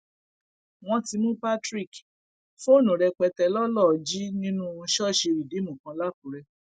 wọn ti mú patrick fóònù rẹpẹtẹ lọ lọọ jí nínú ṣọọṣì rìdíìmù kan làkúrẹ